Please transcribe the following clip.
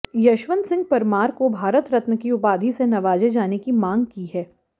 यशवंत सिंह परमार को भारत रत्न की उपाधि से नवाजे जाने की मांग की है